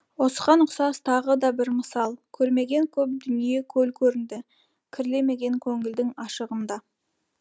осыған ұқсас тағы да бір мысал көрмеген көп дүние көл көрінді кірлемеген көңілдің ашығында